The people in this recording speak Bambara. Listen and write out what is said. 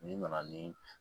N'i nana ni